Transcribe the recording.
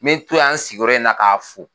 N bɛ to yan an sigiyɔrɔ in na k'a fo.